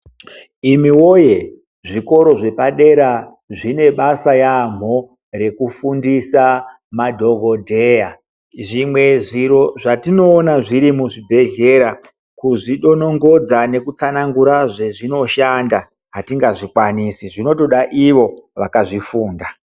Imiwoyee zvikoro zvepadera zvine basa yaambho rekufundisa madhokodheya. Zvimwe zviro zvatinoona zviri muzvibhedhlera, kuzvidonongodza nekutsanangura zvazvinoshanda atingazvikwanisi ,zvinotoda ivo vakazvifunda.